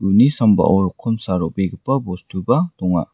uni sambao rokomsa ro·begipa bostuba donga.